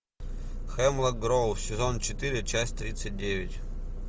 хемлок гроув сезон четыре часть тридцать девять